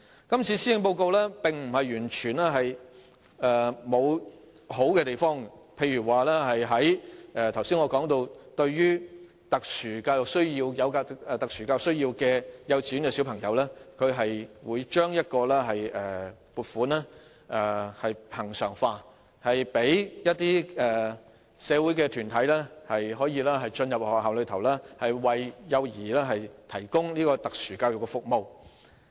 今次的施政報告並非完全沒有優點，例如針對我剛才所說的有特殊教育需要的幼稚園學童，當局會把撥款恆常化，讓一些社會團體進入學校，為幼兒提供特殊教育服務。